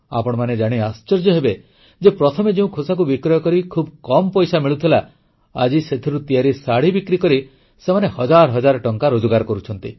ଆପଣମାନେ ଜାଣି ଆଶ୍ଚର୍ଯ୍ୟ ହେବେ ଯେ ପ୍ରଥମେ ଯେଉଁ ଖୋସାକୁ ବିକ୍ରୟ କରି ଖୁବ୍ କମ୍ ପଇସା ମିଳୁଥିଲା ଆଜି ସେଥିରୁ ତିଆରି ଶାଢ଼ୀ ବିକ୍ରିକରି ସେମାନେ ହଜାର ହଜାର ଟଙ୍କା ରୋଜଗାର କରୁଛନ୍ତି